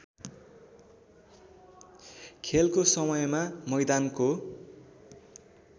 खेलको समयमा मैदानको